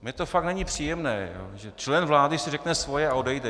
Mně to fakt není příjemné, že člen vlády si řekne svoje a odejde.